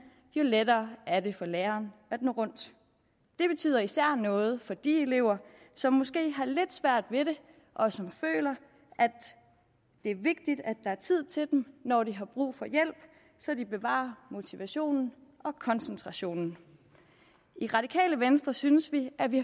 jo lettere er det for læreren at nå rundt det betyder især noget for de elever som måske har lidt svært ved det og som føler at det er vigtigt at der er tid til dem når de har brug for hjælp så de bevarer motivationen og koncentrationen i radikale venstre synes vi at vi